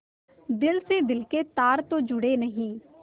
दिल से दिल के तार तो जुड़े नहीं